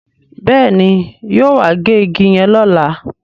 Béèni yóò wá gé ìgi yen lọla